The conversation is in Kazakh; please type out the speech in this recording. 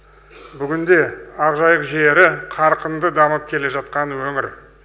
бүгінде ақжайық жері қарқынды дамып келе жатқан өңір